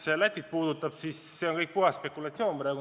Mis Lätit puudutab, siis see on kõik praegu puhas spekulatsioon.